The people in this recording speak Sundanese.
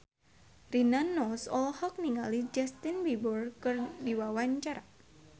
Rina Nose olohok ningali Justin Beiber keur diwawancara